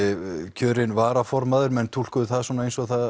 kjörinn varaformaður menn túlkuðu það svona eins og það